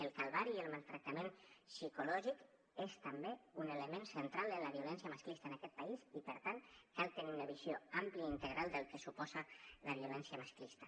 el calvari i el maltractament psicològic és també un element central de la violència masclista en aquest país i per tant cal tenir una visió àmplia i integral del que suposa la violència masclista